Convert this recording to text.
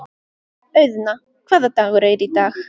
Auðna, hvaða dagur er í dag?